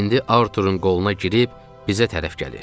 İndi Artur'un qoluna girib bizə tərəf gəlir.